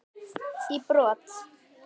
í brott.